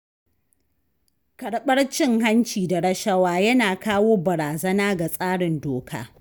Karɓar cin-hanci da rashawa yana kawo barazana ga tsarin doka.